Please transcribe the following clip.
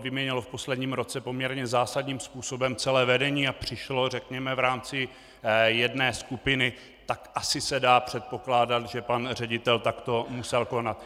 vyměnilo v posledním roce poměrně zásadním způsobem celé vedení a přišlo, řekněme, v rámci jedné skupiny, tak asi se dá předpokládat, že pan ředitel takto musel konat.